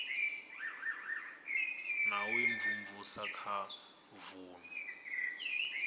na u imvumvusa kha vunu